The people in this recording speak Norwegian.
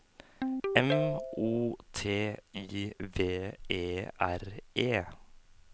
M O T I V E R E